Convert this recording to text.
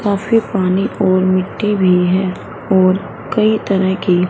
काफी पानी और मिट्टी भी है और कई तरह की--